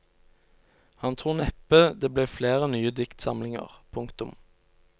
Han tror neppe det blir flere nye diktsamlinger. punktum